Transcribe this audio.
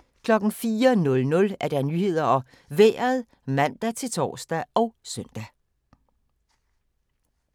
04:00: Nyhederne og Vejret (man-tor og søn)